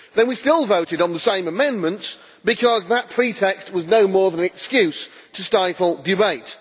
Then we still voted on the same amendments, because that pretext was no more than an excuse to stifle debate.